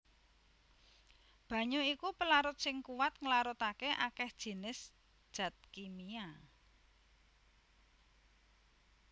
Banyu iku pelarut sing kuwat nglarutaké akèh jinis dat kimia